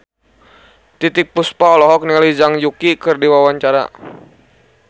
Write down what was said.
Titiek Puspa olohok ningali Zhang Yuqi keur diwawancara